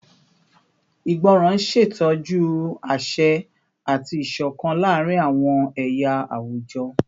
Ìgbọràn n ṣetọju aṣẹ ati isokan laarin awọn ẹya awujọ